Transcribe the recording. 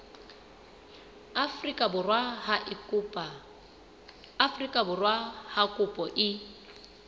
afrika borwa ha kopo e